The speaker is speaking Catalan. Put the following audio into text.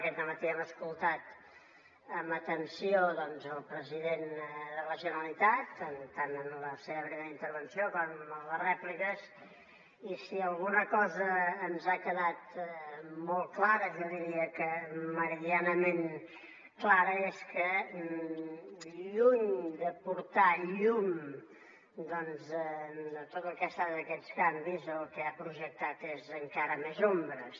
aquest dematí hem escoltat amb atenció el president de la generalitat tant en la seva primera intervenció com en les rèpliques i si alguna cosa ens ha quedat molt clara jo diria que meridianament clara és que lluny d’aportar llum doncs a tot el que han estat aquests canvis el que ha projectat són encara més ombres